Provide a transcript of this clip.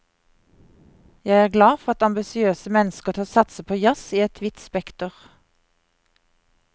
Jeg er glad for at ambisiøse mennesker tør satse på jazz i et vidt spekter.